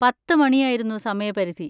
പത്ത് മണി ആയിരുന്നു സമയപരിധി.